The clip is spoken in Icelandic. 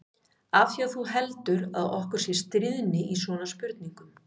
Af því að þú heldur að okkur sé stríðni í svona spurningum.